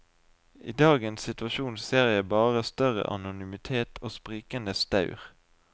I dagens situasjon ser jeg bare større anonymitet og sprikende staur.